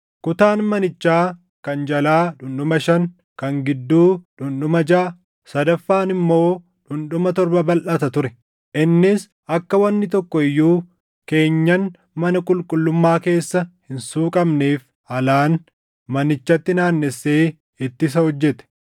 Kutaan manichaa kan jalaa dhundhuma shan, kan gidduu dhundhuma jaʼa, sadaffaan immoo dhundhuma torba balʼata ture. Innis akka wanni tokko iyyuu keenyan mana qulqullummaa keessa hin suuqamneef alaan manichatti naannessee ittisa hojjete.